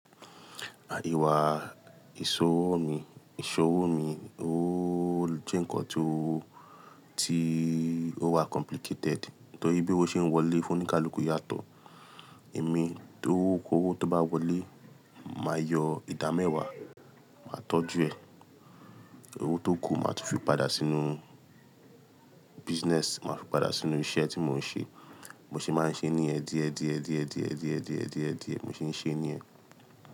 Ìṣòwò mi, ìṣòwò mi, oó jẹ́ ǹkan tó, tí ó wà complicated. Torí bí owó ṣe ń wọlé fún oníkálukú yàtọ̀. Èmi, tówo kówó tó bá wọlé, màá yọ ìdámẹ́wàá, màá tọ́jú ẹ̀. Owó tó ku màá tún fi padà sínú business, màá fi padà sínú iṣẹ́ tí mò ń ṣe. Mo se máa ń ṣe níyẹ̀n, diẹ̀, diẹ̀, diẹ̀, diẹ̀, diẹ̀, diẹ̀, diẹ̀, mo se ń ṣe ní yẹ̀n.